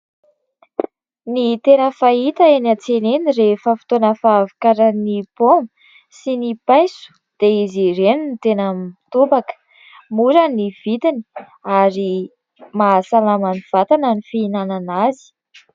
Ny tena fahita eny an-tsena eny rehefa fotoana fahavokaran'ny poma sy ny paiso dia izy ireny ny tena mitobaka. Mora ny vidiny ary mahasalama ny vatana ny fihinanana azy.